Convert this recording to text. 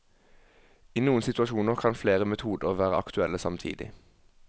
I noen situasjoner kan flere metoder være aktuelle samtidig.